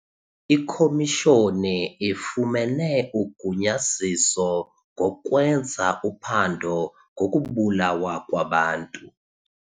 Ikhomishoni ifumene ugunyaziso ngokwenza uphando ngokubulawa kwabantu.